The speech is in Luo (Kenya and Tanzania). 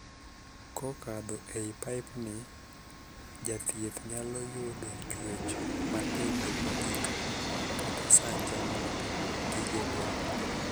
Kokadho e paip ni, jathieth nyalo yudo chuech matindo mogik kata sanja mag gige del.